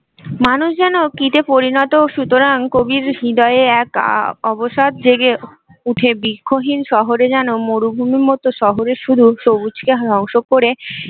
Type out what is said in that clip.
মানুষ যেন কীটএ পরিণত সুতরাং কবির হৃদয়ে এক অবসাদ জেগে উঠে বৃক্ষহীন শহরে যেন মরুভূমির মতো শহরের শুধু সবুজকে ধংস করে